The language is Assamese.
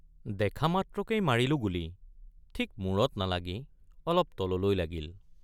দেখা মাত্ৰকেই মাৰিলোঁ গুলী ঠিক মুৰত নালাগি অলপ তললৈ লাগিল।